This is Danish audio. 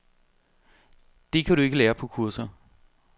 Det kan du ikke lære på kurser.